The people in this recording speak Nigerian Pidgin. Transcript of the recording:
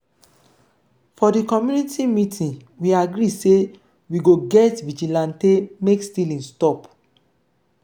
for di community meeting we agree sey we go get vigilantee make stealing stop.